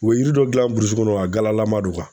U bɛ yiri dɔ dilan burusi kɔnɔ a galalama don